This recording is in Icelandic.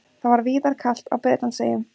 Það var víðar kalt á Bretlandseyjum